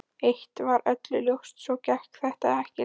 Eitt var öllum ljóst: Svona gekk þetta ekki lengur.